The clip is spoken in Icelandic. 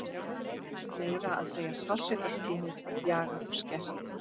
Meira að segja sársaukaskynið var bjagað og skert.